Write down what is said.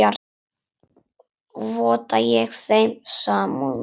Votta ég þeim samúð mína.